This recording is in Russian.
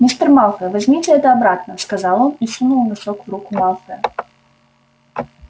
мистер малфой возьмите это обратно сказал он и сунул носок в руку малфоя